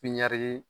Pipiniyɛri